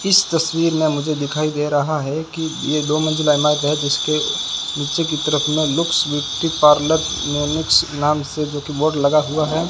इस तस्वीर में मुझे दिखाई दे रहा है कि ये दो मंजिला इमारत है जिसके नीचे की तरफ में लुक्स ब्यूटी पार्लर नाम से जो कि बोर्ड लगा हुआ है।